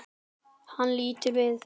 Hann lítur við.